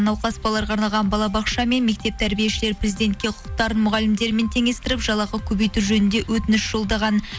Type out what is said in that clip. науқас балаларға арналған балабақша мен мектеп тәрбиешілері президентке құқықтарын мұғалімдермен теңестіріп жалақы көбейту жөнінде өтініш жолдаған